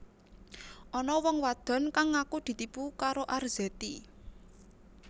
Ana wong wadon kang ngaku ditipu karo Arzetti